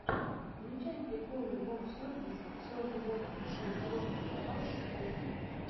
включай приколы воксервис все о животных дрессировка собак кошки